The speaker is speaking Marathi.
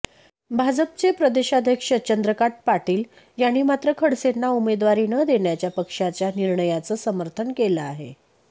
भाजपचे प्रदेशाध्यक्ष चंद्रकांत पाटील यांनी मात्र खडसेंना उमेदवारी न देण्याच्या पक्षाच्या निर्णयाचं समर्थन केलं आहे